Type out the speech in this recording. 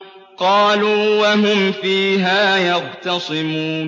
قَالُوا وَهُمْ فِيهَا يَخْتَصِمُونَ